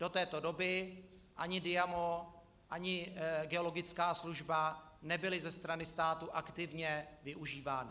Do této doby ani Diamo, ani geologická služba nebyly ze strany státu aktivně využívány.